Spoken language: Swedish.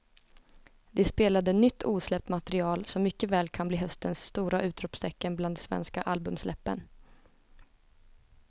De spelade nytt osläppt material som mycket väl kan bli höstens stora utropstecken bland de svenska albumsläppen.